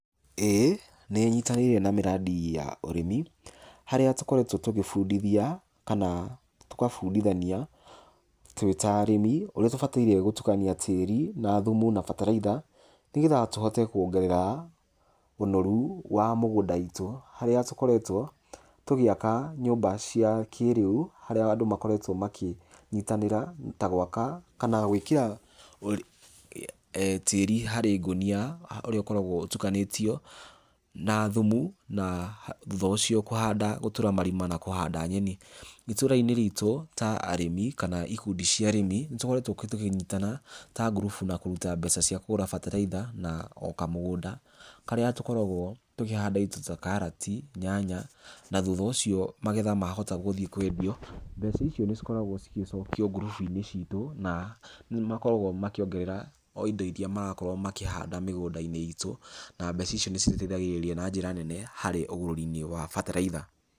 ĩĩ, nĩ nyitanĩire na mĩradi ya ũrĩmi, harĩa tũkoretwo tũkĩbundithia kana tũgabundithania tũĩ ta arĩmi ũria ũbataire gũtukania tĩri na thumu na bataraitha nĩ getha tũhote kuongerera ũnoru wa mũgũnda witũ harĩa tũkoretwa tũgĩaka nyũmba cia kĩĩrĩu harĩa andũ makoretwo makĩnyitanĩra gwaka kana gwĩkĩra tĩri harĩ ngũnĩa ũrĩa ũkoragwo ũtukanĩtio na thumu na thutha ũcio gũtũra marima na kũhanda nyeni. Itũra-inĩ ritũ ta arĩmi kana ikundi cia arĩmi nĩ tũkoretwo ta tũkĩnyitana ta ngurubu na kũrita mbeca cia kũgũra mbataraitha na o kamũgũnda karĩa tũkoragwo tũkĩhanda indo ta karati, nyanya na thutha ũcio magetha mahota gũthiĩ kwendio mbeca icio nĩ cikoragwo cigĩcokio gurubu-inĩ citũ na nĩ makoragwo makĩongerera o indo iria marakorwo makĩhanda mĩgũndainĩ itũ na mbeca icio nĩ citeithagĩrĩria harĩ ũgũri-inĩ wa bataraitha.